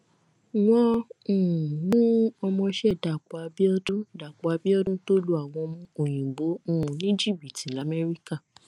wọn um mú ọmọọṣẹ dàpọ abiodun dàpọ abiodun tó lu àwọn òyìnbó um ní jìbìtì lamẹríkà